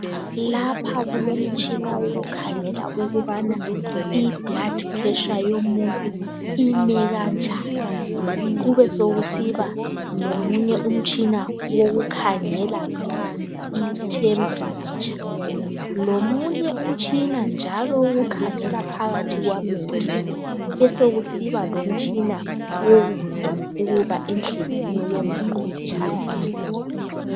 Lapha kulomtshina owokukhangela ukuthi ibhiphi yomuntu imekanjani kubesokusiba lomunye umtshina okhangela ithempiletsha, lomunye umtshina njalo okhangela phakathi kwamehlo kubesokusiba lomunye umtshina owokuzwa ukuthi inhliziyo yomuntu itshaya njani